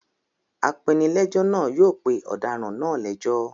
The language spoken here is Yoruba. Apenilẹ́jọ́ náà yóò pe ọ̀daràn náà lẹ́jọ́.